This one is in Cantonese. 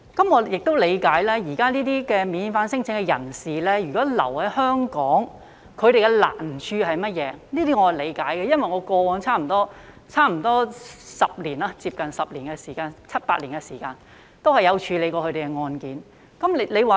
我亦理解現時這些免遣返聲請的人士如留在香港，他們面對的難處是甚麼，這些我也理解，因為我過往在差不多10年中，有七八年曾有處理過他們的案件。